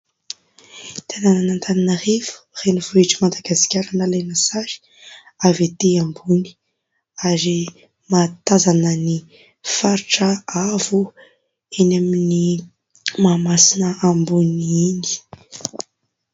Tanànan'Antananarivo renivohitr'I Madagasika nalaina sary avy etỳ ambony ary mahatazana ny faritra avo eny amin'ny Mahamasina ambony iny.